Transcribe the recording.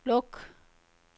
luk